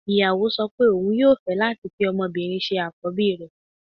Ìyàwó sọ pé òun yóò fẹ́ láti fi ọmọbìnrin ṣe àkọ́bí rẹ̀